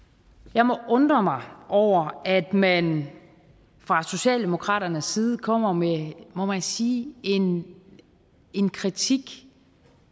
jeg må undre mig over at man fra socialdemokraternes side kommer med må man sige en kritik